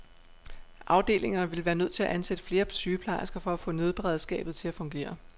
Afdelingerne ville være nødt til at ansætte flere sygeplejersker for at få nødberedskabet til at fungere.